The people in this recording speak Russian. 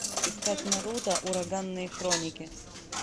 искать наруто ураганные хроники